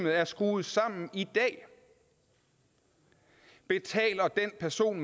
er skruet sammen i dag betaler den person